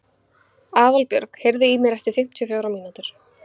Aðalbjörg, heyrðu í mér eftir fimmtíu og fjórar mínútur.